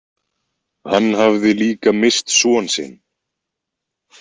Hann hafði líka misst son sinn.